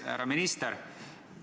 Härra minister!